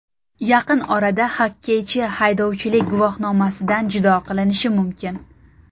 Yaqin orada xokkeychi haydovchilik guvohnomasidan judo qilinishi mumkin.